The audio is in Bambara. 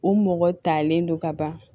U mɔgɔ talen don ka ban